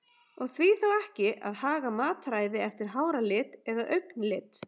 Og því þá ekki að haga mataræði eftir háralit eða augnlit?